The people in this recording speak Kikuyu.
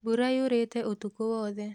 Mbura yurĩte ũtukũ wothe